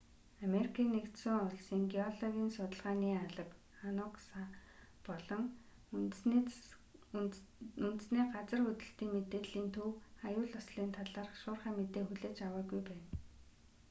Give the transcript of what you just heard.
америкийн нэгдсэн улсын геологийн судалгааны алба анугса болон үндэсний газар хөдлөлтийн мэдээллийн төв аюул ослын талаарх шуурхай мэдээ хүлээж аваагүй байна